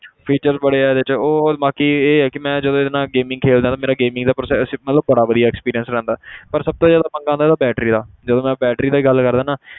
Features ਬੜੇ ਆ ਇਹਦੇ 'ਚ ਉਹ ਹੋਰ ਬਾਕੀ ਇਹ ਹੈ ਕਿ ਮੈਂ ਜਦੋਂ ਇਹਦੇ ਨਾਲ gaming ਖੇਲਦਾ ਨਾ, ਮੇਰਾ gaming ਦਾ process ਮਤਲਬ ਬੜਾ ਵਧੀਆ experience ਰਹਿੰਦਾ ਪਰ ਸਭ ਤੋਂ ਜ਼ਿਆਦਾ ਪੰਗਾ ਵਾ ਇਹਦਾ battery ਦਾ ਜਦੋਂ ਮੈਂ battery ਦੀ ਗੱਲ ਕਰਦਾ ਨਾ